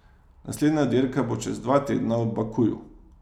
Naslednja dirka bo čez dva tedna v Bakuju.